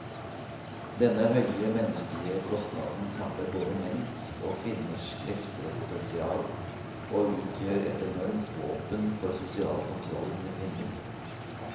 Denne høye menneskelige kostnaden tapper både menns og kvinners krefter og potensial, og utgjør et enormt våpen for sosial kontroll med kvinner.